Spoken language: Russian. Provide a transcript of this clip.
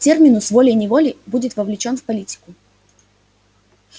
терминус волей-неволей будет вовлечён в политику